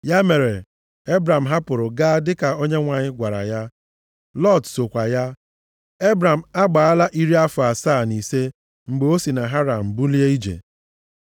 Ya mere, Ebram hapụrụ gaa dịka Onyenwe anyị gwara ya. Lọt sokwa ya. Ebram agbaala iri afọ asaa na ise mgbe o si na Haran bulie ije.